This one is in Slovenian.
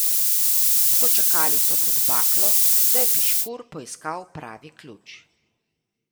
Počakali so pod baklo, da je Piškur poiskal pravi ključ.